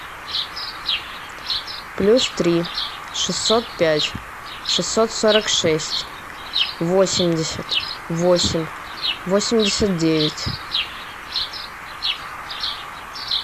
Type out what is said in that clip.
плюс три шестьсот пять шестьсот сорок шесть восемьдесят восемь восемьдесят девять